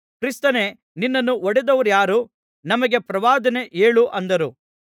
ಕ್ರಿಸ್ತನೇ ನಿನ್ನನ್ನು ಹೊಡೆದವರಾರು ನಮಗೆ ಪ್ರವಾದನೆ ಹೇಳು ಅಂದರು